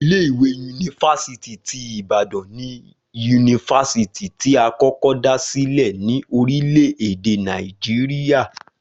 Ilé ìwé yunifásítì ti Ibadan ni yunifásítì tí a kọ́kọ́ dá silẹ ní orílẹ̀ èdè Nàìjíríà